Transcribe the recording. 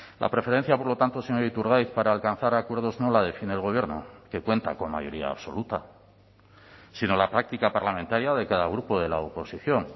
la preferencia por lo tanto señor iturgaiz para alcanzar acuerdos no la define el gobierno que cuenta con mayoría absoluta sino la práctica parlamentaria de cada grupo de la oposición